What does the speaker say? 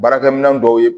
Baarakɛminɛn dɔw ye